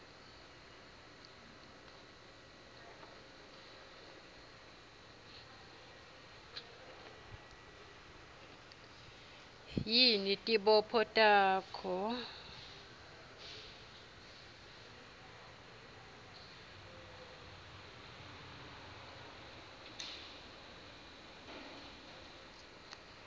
yini tibopho takho